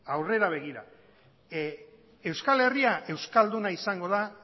aurrera begira euskal herria euskalduna izango da